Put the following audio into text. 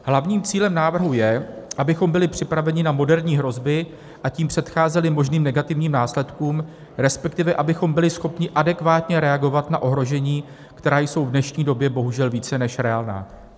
Hlavním cílem návrhu je, abychom byli připraveni na moderní hrozby a tím předcházeli možným negativním následkům, respektive abychom byli schopni adekvátně reagovat na ohrožení, která jsou v dnešní době bohužel více než reálná.